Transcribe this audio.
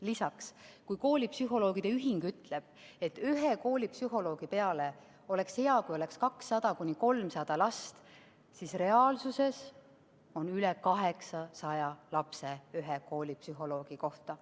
Lisaks, kui koolipsühholoogide ühing ütleb, et oleks hea, kui ühe koolipsühholoogi peale oleks 200–300 last, siis reaalsuses on ühe koolipsühholoogi kohta üle 800 lapse.